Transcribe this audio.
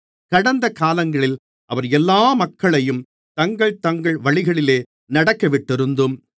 கடந்த காலங்களில் அவர் எல்லா மக்களையும் தங்கள் தங்கள் வழிகளிலே நடக்கவிட்டிருந்தும்